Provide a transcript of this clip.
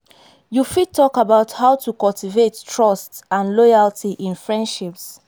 you fit talk about how to cultivate trust and loyalty in in friendships.